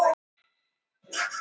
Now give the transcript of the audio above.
Er í vanda staddur.